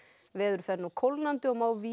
veður fer nú kólnandi og má víða